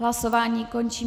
Hlasování končím.